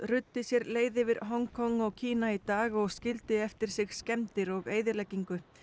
ruddi sér leið yfir Hong Kong og Kína í dag og skildi eftir sig skemmdir og eyðileggingu